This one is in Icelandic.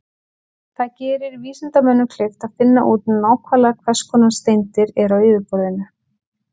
Það gerir vísindamönnum kleift að finna út nákvæmlega hvers konar steindir eru á yfirborðinu.